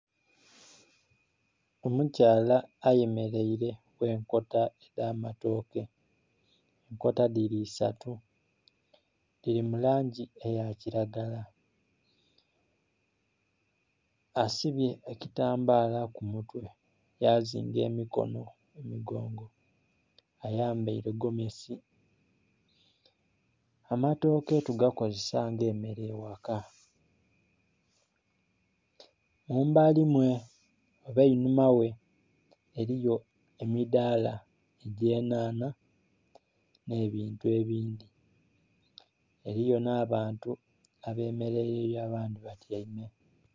Omukyala ayemeraire ghenkota edh'amatooke, nkota dhiri isatu dhiri mu langi eyakiragala. Asibye ekitambaala ku mutwe yazimga emikono emigongo. Ayambaire gomesi. Amatooke to gakozesa nga emere eghakamubali mwe oba einuma ghe, eriyo emidhaala egy'enhanha nhebintu ebindhi, eriyo n'abantu abemeraireyo abandhi batyaime.